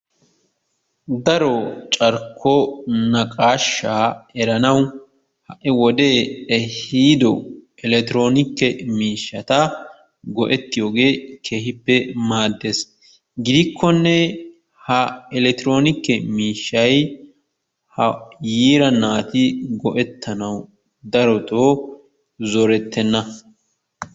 Daro carkko naqaashaa eranawu ha'i wode ehiiddo elekktronikke miishshaata go'ettiyogee keehippe maaddees. Gidikkonee ha elekktronikke miishshay ha yiira naati go"ettanawu darottoo zorettenna.